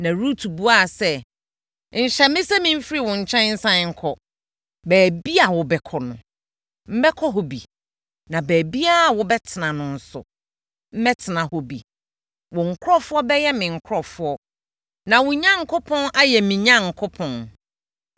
Na Rut buaa sɛ, “Nhyɛ me sɛ memfiri wo nkyɛn nsane nkɔ. Baabiara a wobɛkɔ no, mɛkɔ hɔ bi na baabiara a wobɛtena no nso, mɛtena hɔ bi. Wo nkurɔfoɔ bɛyɛ me nkurɔfoɔ na wo Onyankopɔn ayɛ me Onyankopɔn.